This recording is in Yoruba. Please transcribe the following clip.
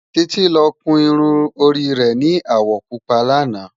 Titi lò kún irún óri rè ni áwò púpá làná